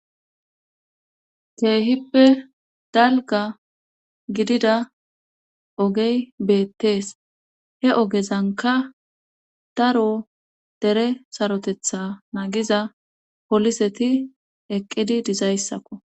keehippe dalga gidida ogey beettees he ogezanka daro dere sarotetha naagiza poliseti eqqidi dizayssakko